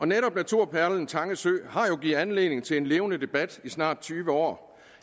netop naturperlen tange sø har jo givet anledning til en levende debat i snart tyve år